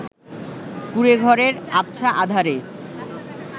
কুঁড়েঘরের আবছা আঁধারে